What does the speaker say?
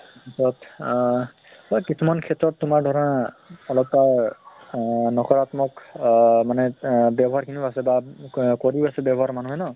but আহ বা কিছুমান ক্ষেত্ৰত তোমাৰ ধৰা অলপ তাৰ নকৰাত্মক আহ মানে আহ ব্য়ৱ্হাৰ খিনিও আছে বা কা কৰি আছে ব্য়ৱ্হাৰ মানুহে ন?